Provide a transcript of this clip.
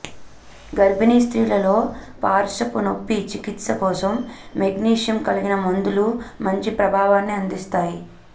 గర్భిణీ స్త్రీలలో పార్శ్వపు నొప్పి చికిత్స కోసం మెగ్నీషియం కలిగిన మందులు మంచి ప్రభావాన్ని అందిస్తాయి